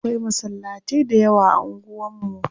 Akwai masallatai da yawa a unguwan mu.